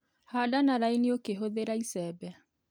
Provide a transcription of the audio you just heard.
Handa na raini ũkĩhũthira icembe.